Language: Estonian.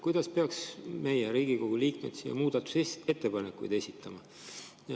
Kuidas peaks meie, Riigikogu liikmed, muudatusettepanekuid esitama?